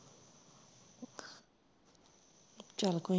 ਚਲ ਕੋਈ ਨਹੀਂ